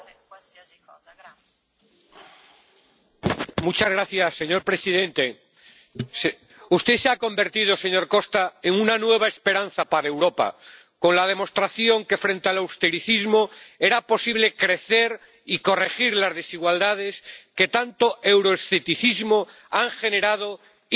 Señor presidente, usted se ha convertido, señor Costa, en una nueva esperanza para Europa con la demostración de que, frente al austericismo, era posible crecer y corregir las desigualdades que tanto euroescepticismo han generado y, con ello, un incremento del populismo en el conjunto de Europa.